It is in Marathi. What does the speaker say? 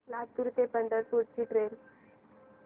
लातूर ते पंढरपूर ची ट्रेन